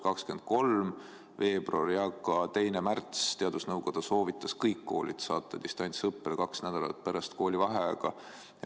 23. veebruaril ja ka 2. märtsil teadusnõukoda soovitas saata kõik koolid distantsõppele kaheks nädalaks pärast koolivaheaega.